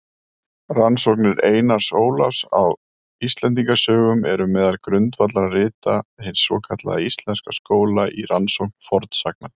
Rannsóknir Einars Ólafs á Íslendingasögum eru meðal grundvallarrita hins svokallaða íslenska skóla í rannsókn fornsagna.